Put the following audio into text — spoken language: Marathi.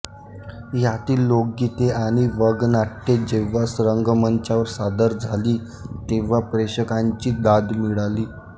यातील लोकगीते आणि वगनाट्ये जेंव्हा रंगमंचावर सादर झाली तेंव्हा प्रेक्षकांची दाद मिळाली